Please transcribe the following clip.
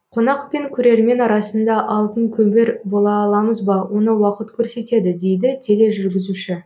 қонақ пен көрермен арасында алтын көпір бола аламыз ба оны уақыт көрсетеді дейді тележүргізуші